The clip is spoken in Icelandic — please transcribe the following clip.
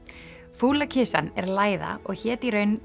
fúla kisan er læða og hét í raun